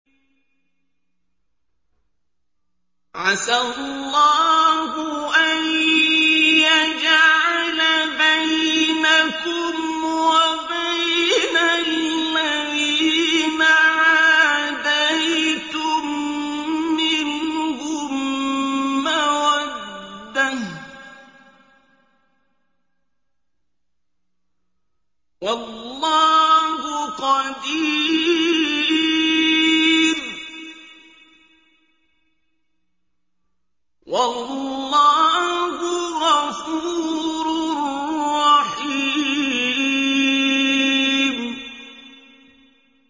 ۞ عَسَى اللَّهُ أَن يَجْعَلَ بَيْنَكُمْ وَبَيْنَ الَّذِينَ عَادَيْتُم مِّنْهُم مَّوَدَّةً ۚ وَاللَّهُ قَدِيرٌ ۚ وَاللَّهُ غَفُورٌ رَّحِيمٌ